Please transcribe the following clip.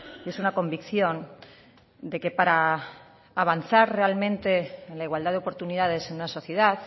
y es una convicción de que para avanzar realmente en la igualdad de oportunidades en una sociedad